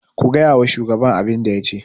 ku gaya wa shugaban abin da ya ce!